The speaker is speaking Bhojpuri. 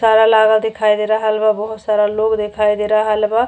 लागल दिखाई दे रहल बा बहुत सारा लोग दिखाई दे रहल बा।